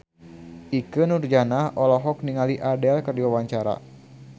Ikke Nurjanah olohok ningali Adele keur diwawancara